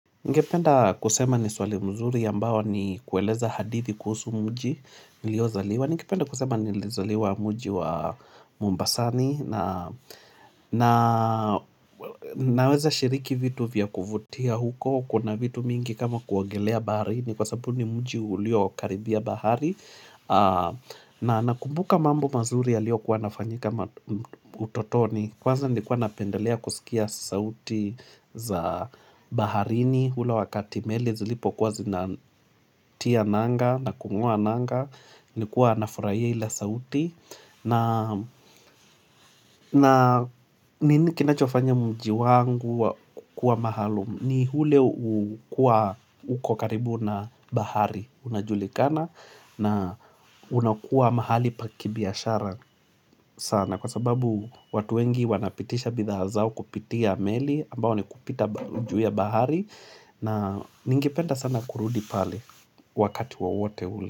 Ningependa kusema ni swali mzuri ambao ni kueleza hadithi kuhusu mji niliozaliwa. Ningependa kusema nilizaliwa mji wa Mombasani na naweza shiriki vitu vya kuvutia huko. Kuna vitu mingi kama kuogelea baharini kwa sababu ni mji ulio karibia bahari. Na nakumbuka mambo mazuri yaliyokuwa yanafanyika utotoni. Kwanza nilikuwa napendelea kusikia sauti za baharini ule wakati meli Zilipokuwa zinatia nanga na kungo'a nanga Nilikuwa nafurahia ile sauti na kinachofanya mji wangu kukua maalum ni ule kuwa uko karibu na bahari unajulikana na unakuwa mahali pa kibiashara sana na kwa sababu watu wengi wanapitisha bidhaa zao kupitia meli ambao ni kupita juu ya bahari na ningependa sana kurudi pale wakati wowote ule.